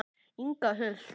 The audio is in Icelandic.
Inga Huld.